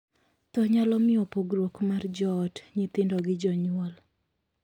Thoo nyalo miyo pogruok mar joot; nyithindo gi jonyuol.